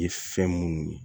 Ye fɛn munnu ye